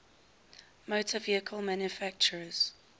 motor vehicle manufacturers